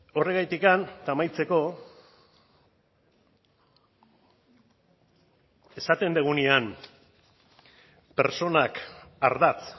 horregatik eta amaitzeko esaten dugunean pertsonak ardatz